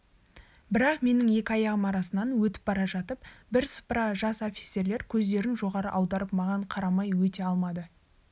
бірақ менің екі аяғымның арасынан өтіп бара жатып бірсыпыра жас офицерлер көздерін жоғары аударып маған қарамай өте алмады